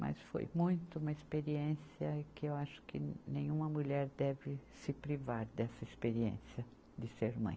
Mas foi muito uma experiência que eu acho que nenhuma mulher deve se privar dessa experiência de ser mãe.